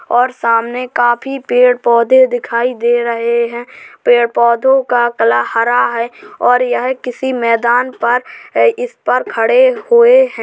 और सामने काफी पेड़-पौधे दिखाई दे रहे हैं। पेड़-पौधे का कला हरा है और यह किसी मैदान पर इस पर खड़े हुए हैं।